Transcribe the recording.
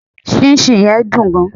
sinsin yen dun gan